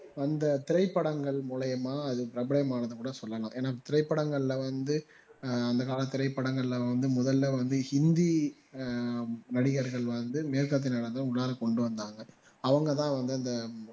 வந்த திரைப்படங்கள் மூலியமா அது பிரபலமானது என்று கூட சொல்லலாம் இத்திரைப்படங்கள்ல வந்து ஆஹ் அந்த கால திரைப்படங்கள்ல வந்து முதல்ல வந்து ஹிந்தி ஆஹ் நடிகர்கள் வந்து மேற்கத்திய நடனத்த உள்ளார கொண்டுவந்தாங்க அவங்க தான் வந்து அந்த